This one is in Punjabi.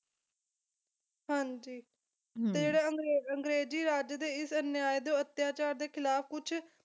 ਹਾਂਜੀ ਤੇ ਜਿਹੜੇ ਅੰਗਰੇ ਅੰਗਰੇਜ਼ੀ ਰਾਜ ਦੇ ਇਸ ਅਨਿਆਏ ਤੇ ਅਤਿਆਚਾਰ ਦੇ ਖਿਲਾਫ ਕੁਛ